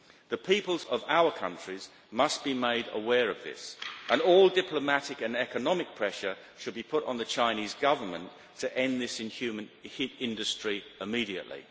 The peoples of our countries must be made aware of this, and all diplomatic and economic pressure should be put on the Chinese Government to end this inhumane industry immediately.